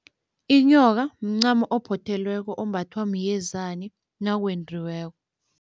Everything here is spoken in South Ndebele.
Inyoka mncamo ophothelweko ombathwa myezani nakwendiweko.